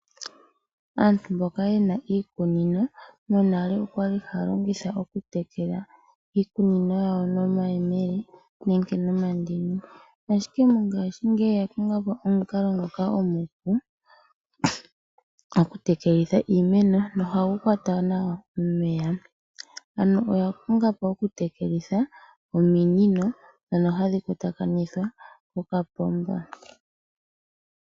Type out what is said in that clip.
Aantu mboka yena iikunino monale okwali haa haa longitha iikunino yawo nomayemele nenge nomandini ashike mongashingeyi oya konga po omukalo omupu goku tekela iimeno nohagu kwat nawa omeya ano oya konga oi okutekelitha ominino dhono hadhi kwata kanithwa nokapomba.